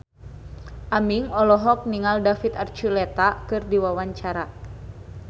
Aming olohok ningali David Archuletta keur diwawancara